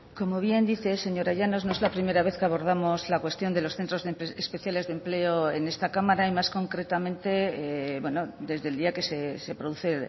como bien dice señora llanos no es la primera vez que abordamos la cuestión de los centros especiales de empleo en esta cámara y más concretamente desde el día que se produce